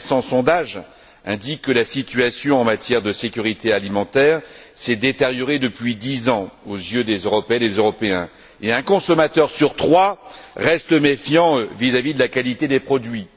Un récent sondage indique que la situation en matière de sécurité alimentaire s'est détériorée depuis dix ans aux yeux des Européennes et des Européens, et un consommateur sur trois reste méfiant vis à vis de la qualité des produits.